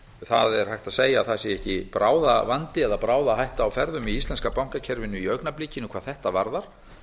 það er hægt að segja að það sé ekki bráðavandi eða bráðahætta á ferðum í íslenska bankakerfinu í augnablikinu hvað þetta varðar